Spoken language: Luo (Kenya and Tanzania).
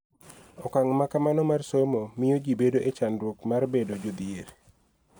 Okang� ma kamano mar somo miyo ji bedo e chandruok mar bedo jodhier.